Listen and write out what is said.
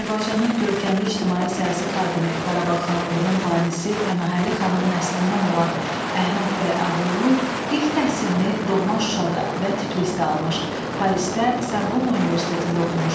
Azərbaycanın görkəmli ictimai-siyasi xadimi, Qarabağ xanlığının banisi Pənahəli xanın nəslindən olan Əhməd bəy Ağaoğlu ilk təhsilini doğma Şuşada və Tiflisdə almış, Parisdə Sarbon Universitetində oxumuşdu.